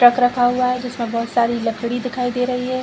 Truck रखा हुआ है जिसमे बहुत सारी लकड़ी दिखाई दे रही है।